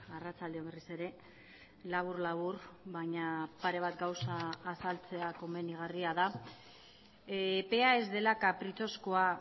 arratsalde on berriz ere labur labur baina pare bat gauza azaltzea komenigarria da epea ez dela kapritxozkoa